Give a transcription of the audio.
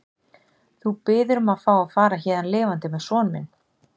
Þú biður um að fá að fara héðan lifandi með son minn.